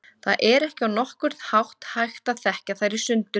Það er ekki á nokkurn hátt hægt að þekkja þær í sundur.